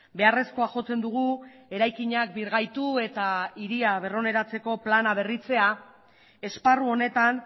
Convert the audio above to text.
beharrezkoa jotzen dugu eraikinak birgaitu eta hiri berroneratzeko plana berritzea esparru honetan